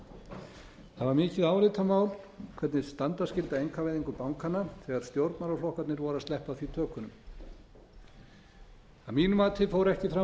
það var mikið álitamál hvernig standa skyldi að einkavæðingu bankanna þegar stjórnmálaflokkarnir voru að sleppa af því tökunum að mínu mati fór ekki fram